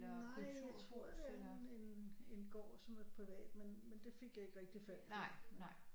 Nej jeg tror det er en gård som er privat men det fik jeg ikke rigtig fat på